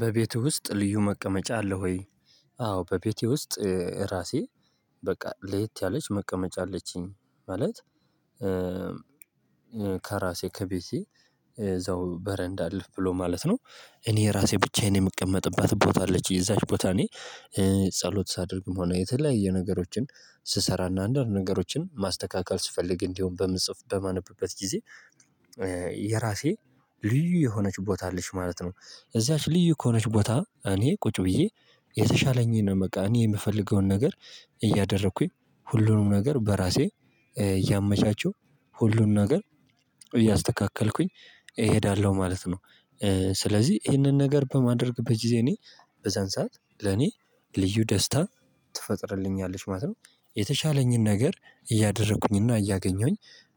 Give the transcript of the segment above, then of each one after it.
በቤትህ ውስጥ ልዩ መቀመጫ አለ ወይ? አዎ በቤቴ ውስጥ ራሴ በቃ ለየት ያለች መቀመጫ አለችኝ ማለት ከራሴ ከቤቴ እዛው በረንዳ አልፍ ብሎ ማለት ነው። እኔ ራሴ ብቻዬን የምቀመጥባት ቦታ አለች እዛች ቦታ እኔ ጸሎት ሳደርግም ሆነ የተለያየ ነገሮችን ስሰራ እና አንዳንድ ነገሮችን ማስተካከል ስፈልግ እንዲሁም በምጽፍ በማነበበት ጊዜ የራሴ ልዩ የሆነች ቦታ አለች ማለት ነው። እዛች ልዩ ከሆነች ቦታ እኔ ቁጭ ብዬ የተሻለኝን በቃ እኔ የምፈልገውን ነገር እያደረኩኝ ሁሉንም ነገር በራሴ እያመቻቸው ሁሉንም ነገር እያስተካከልኩኝ እሄዳለሁ ማለት ነው። ስለዚህ ይሄንን ነገር በማድረግበት ጊዜ እኔ በዛን ሰዓት ለኔ ልዩ ደስታ ትፈጥርልኛለች ማለት ነው። የተሻለኝን ነገር እያደረኩኝና እያገኘሁኝ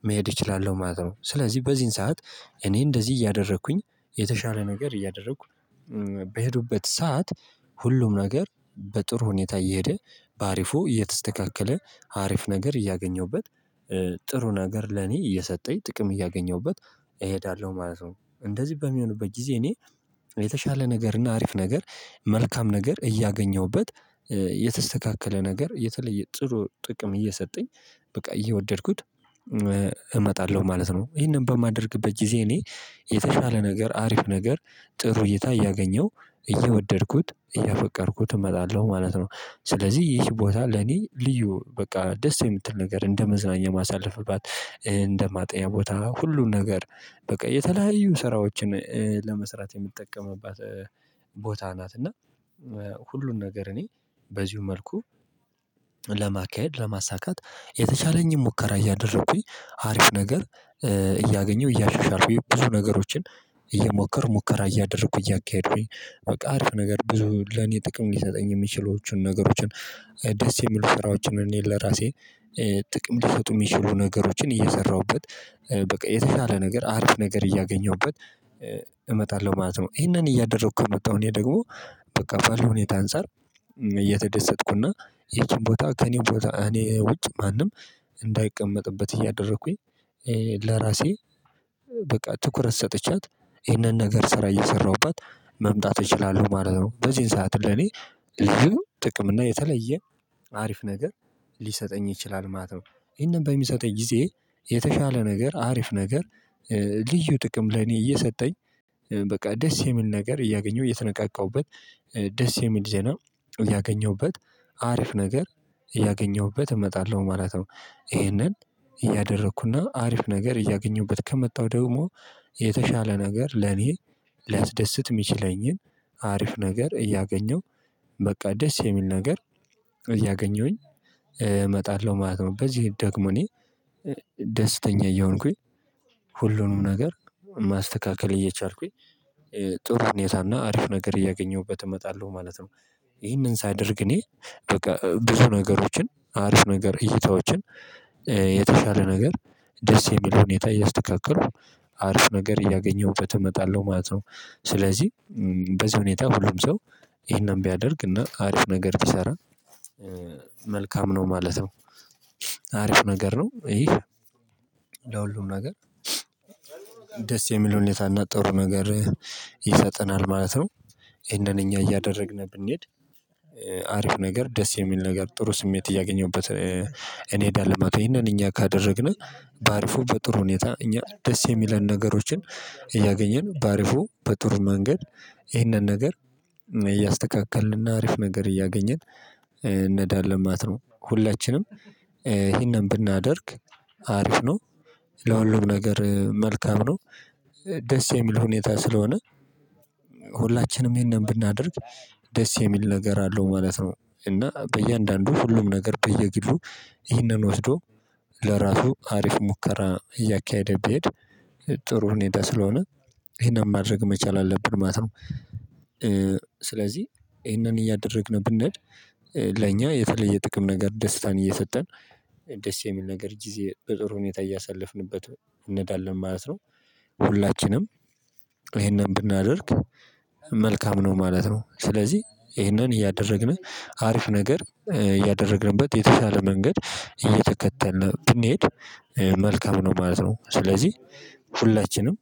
መሄድ እችላለሁ ማለት ነው። ስለዚህ በዚህን ሰዓት እኔ እንደዚህ እያደረኩኝ የተሻለ ነገር እያደረኩ በሄዱበት ሰዓት ሁሉም ነገር በጥሩ ሁኔታ እየሄደ በአሪፉ እየተስተካከለ አሪፍ ነገር እያገኘሁበት ጥሩ ነገር ለኔ እየሰጠኝ ጥቅም እያገኘሁበት እሄዳለሁ ማለት ነው። እንደዚህ በሚሆንበት ጊዜ እኔ የተሻለ ነገርና አሪፍ ነገር መልካም ነገር እያገኘሁበት የተስተካከለ ነገር የተለየ ጥሩ ጥቅም እየሰጠኝ በቃ እየወደድኩት እመጣለሁ ማለት ነው። ይሄንን በማደርግበት ጊዜ እኔ የተሻለ ነገር አሪፍ ነገር ጥሩ እይታ እያገኘው እየወደድኩት እያፈቀርኩት እመጣለሁ ማለት ነው ስለዚህ ይህ ቦታ ለኔ ልዩ በቃ ደስ የምትል ነገር እንደ መዝናኛ የማሳልፍባት እንደ ማጥኛ ቦታ ሁሉን ነገር በቃ የተለያዩ ስራዎችን ለመስራት የምጠቀምባት ቦታ ናት። እና ሁሉን ነገር እኔ በዚሁ መልኩ ለማካሄድ ለማሳካት የተቻለኝን ሙከራ እያደረኩኝ አሪፍ ነገር እያገኘሁ እያሻሻልኩኝ ብዙ ነገሮችን እየሞከር ሙከራ እያደረኩ እያካሄዱኝ በቃ አርፍ ነገር ብዙ ለኔ ጥቅም ሊሰጠኝ የሚችሉትን ነገሮችን ደስ የሚሉ ስራዎችን እኔን ለራሴ ጥቅም ሊሰጡ የሚችሉ ነገሮችን እየሰራሁበት በቃ የተሻለ ነገር አሪፍ ነገር እያገኘሁበት እመጣለሁ ማለት ነው። ይሄንን እያደረኩ ነው የምታውቀው እኔ ደግሞ በቃ በሁኔታ አንፃር እየተደሰትኩና የትም ቦታ ከእኔ ቦታ እኔ ውጭ ማንም እንዳይቀመጥበት እያደረኩኝ ለራሴ በቃ ትኩረት ሰጥቻት ይሄንን ነገር ስራ እየሰራሁበት መምጣት እችላለሁ ማለት ነው። በዚህን ሰዓት ለኔ ልጅ ጥቅም እና የተለየ አሪፍ ነገር ሊሰጠኝ ይችላል ማለት ነው። ይሄንን በሚሰጠኝ ጊዜ የተሻለ ነገር አሪፍ ነገር ልዩ ጥቅም ለኔ እየሰጠኝ በቃ ደስ የሚል ነገር እያገኘሁ እየተነቃቃሁበት ደስ የሚል ዜና ያገኘሁበት አሪፍ ነገር ያገኘሁበት እመጣለሁ ማለት ነው። ይሄንን እያደረኩና አሪፍ ነገር እያገኘሁበት ከመጣሁ ደግሞ የተሻለ ነገር ለኔ ሊያስደስት የሚችለኝን አሪፍ ነገር እያገኘሁ በቃ ደስ የሚል ነገር እያገኘሁኝ እመጣለሁ ማለት ነው። በዚህ ደግሞ እኔ ደስተኛ እየሆንኩኝ ሁሉንም ነገር ማስተካከል እየቻልኩኝ ጥሩ ሁኔታና አሪፍ ነገር እያገኘሁበት እመጣለሁ ማለት ነው። ይሄንን ሳደርግ እኔ በቃ ብዙ ነገሮችን አሪፍ ነገር እይታዎችን የተሻለ ነገር ደስ የሚለውን ሁኔታ እያስተካከከልኩ አርፍ ነገር እያገኘሁበት እመጣለሁ ማለት ነው። ስለዚህ በዚህ ሁኔታ ሁሉም ሰው ይሄንን ቢያደርግ እና አሪፍ ነገር ቢሰራ መልካም ነው ማለት ነው። አሪፍ ነገር ነው ይሄ ለሁሉም ነገር ደስ የሚል ሁኔታና ጥሩ ነገር ይሰጠናል ማለት ነው። ይሄንን እኛ እያደረግን ብንሄድ አሪፍ ነገር ደስ የሚል ነገር ጥሩ ስሜት እያገኘሁበት እንሄዳለን ማለትነው። ይህንን እኛ ካደረግን በአሪፉ በጥሩ ሁኔታ እኛ ደስ የሚለን ነገሮችን እያገኘን በአሪፉ በጥሩ መንገድ ይህንን ነገር እያስተካከልንና አሪፍ ነገር እያገኘን እንሄዳለን ማለት ነው። ሁላችንም ይሄንን ብናደርግ አሪፍ ነው። ለሁሉም ነገር መልካም ነው። ደስ የሚል ሁኔታ ስለሆነ ሁላችንም ይሄንን ብናደርግ ደስ የሚል ነገር አለው ማለት ነው። እና በእያንዳንዱ ሁሉም ነገር በየግሉ ይህንን ወስዶ ለራሱ አሪፍ ሙከራ እያካሄደ ቢሄድ ጥሩ ሁኔታ ስለሆነ ይህንን ማድረግ መቻል አለብን ማለት ነው። ስለዚህ ይሄንን እያደረግን ብንሄድ ለኛ የተለየ ጥቅም ነገር ደስታን እየሰጠን ደስ የሚል ነገር ጊዜ በጥሩ ሁኔታ እያሳለፍንበት እንሄዳለን ማለት ነው። ሁላችንም ይሄንን ብናደርግ መልካም ነው ማለት ነው። ስለዚህ ይሄንን እያደረግን አሪፍ ነገር እያደረግንበት የተሻለ መንገድ እየተከተልን ብንሄድ መልካም ነው ማለት ነው። ስለዚህ ሁላችንም